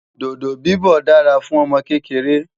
dodo bibọ dá rà fún ọmọ kékeré